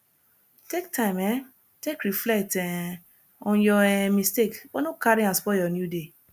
take time um take reflect um on yur um mistake but no carry am spoil yur new day